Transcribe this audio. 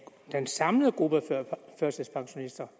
den samlede gruppe af førtidspensionister